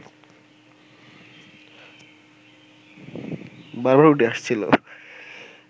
বারবার উঠে আসছিলেো